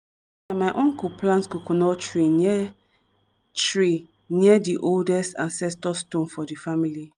my uncle plant coconut tree near tree near di oldest ancestor stone for di family.